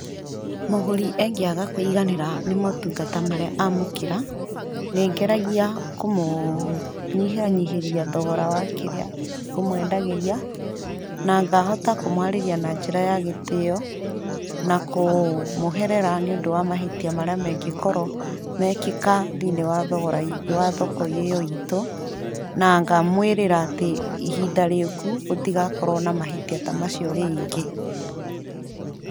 Mũgũri angĩaga kũiganĩra nĩ motungata marĩa amũkĩra, nĩngeragia kũmũnyihanyihĩria thogora wa kĩndũ kĩrĩa ngũmwendagĩria, na ngahota kũmwarĩria na njĩra ya gĩtĩo, na kũmũherera nĩũndũ wa mahĩtia marĩa mangĩkorwo mekĩka thĩinĩ wa thoko ĩyo iitũ, na ngamwĩrĩra atĩ ihinda rĩũku gũtigakorwo na mahĩtia ta macio rĩngĩ.